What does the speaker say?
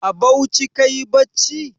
A Bauchi kayi bacci?